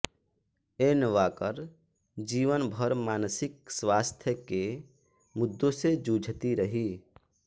N Walker जीवन भर मानसिक स्वास्थ्य के मुद्दों से जूझती रहीं